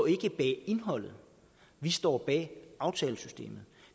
indholdet vi står bag aftalesystemet